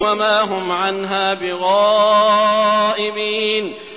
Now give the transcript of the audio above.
وَمَا هُمْ عَنْهَا بِغَائِبِينَ